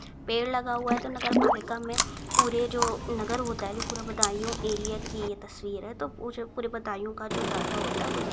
पेड़ लगा हुआ है तो नगर पालिका में पूरे जो नगर होता है जो पूरा बदायू एरिया की ये तस्वीर है तो वो जो पूरे बदायू का जो डाटा होता है वो यहीं --